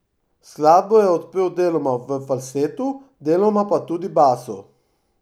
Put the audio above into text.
Skladbo je odpel deloma v falsetu, deloma pa tudi basu.